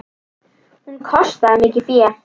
Hún kostaði mikið fé.